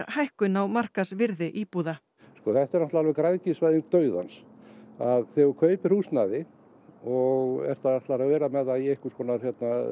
hækkun á markaðsvirði íbúða þetta er náttúrulega græðgisvæðing dauðans þegar þú kaupir húsnæði og ætlar að vera með það í einhvers konar